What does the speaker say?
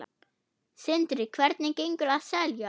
Sindri: Hvernig gengur að selja?